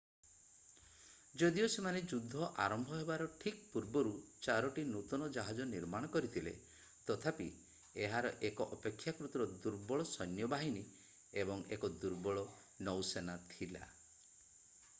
ଯଦିଓ ସେମାନେ ଯୁଦ୍ଧ ଆରମ୍ଭ ହେବାର ଠିକ୍ ପୂର୍ବରୁ ଚାରୋଟି ନୂତନ ଜାହାଜ ନିର୍ମାଣ କରିଥିଲେ ତଥାପି ଏହାର ଏକ ଅପେକ୍ଷାକୃତ ଦୁର୍ବଳ ସୈନ୍ୟ ବାହିନୀ ଏବଂ ଏକ ଦୁର୍ବଳ ନୌସେନା ଥିଲା